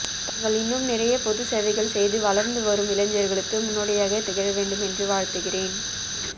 தாங்கள் இன்னும் நிறைய பொது சேவைகள் செய்து வளர்ந்து வளரும் இளைஞ்சர்களுக்கு முன்னோடியா திகழவேண்டும் என்று வாழ்த்துகிறேன்